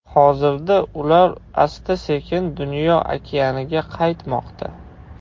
Hozirda ular asta-sekin dunyo okeaniga qaytmoqda.